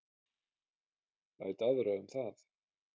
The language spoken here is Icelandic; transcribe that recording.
Læt aðra um það.